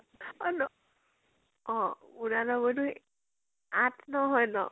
অ ন অ উনানব্বৈ টো আঠ নও হয় ন?